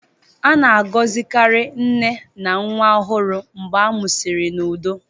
A na-agọzikarị nne na nwa ọhụrụ mgbe a mụsịrị n'udo.